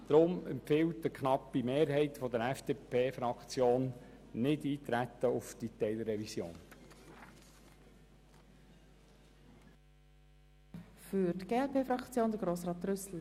Deshalb empfiehlt Ihnen eine knappe Mehrheit der FDP-Fraktion, auf diese Teilrevision nicht einzutreten.